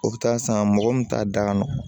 O bɛ taa san mɔgɔ min t'a da kɔnɔ